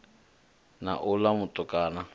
na uḽa mutukana a ya